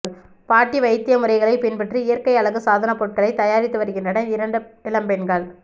பாட்டி வைத்திய முறைகளை பின்பற்றி இயற்கை அழகு சாதன பொருட்களை தயாரித்து வருகின்றனர் இரண்டு இளம் பெண்கள்